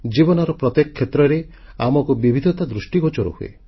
ଜୀବନର ପ୍ରତ୍ୟେକ କ୍ଷେତ୍ରରେ ଆମକୁ ବିବିଧତା ଦୃଷ୍ଟିଗୋଚର ହୁଏ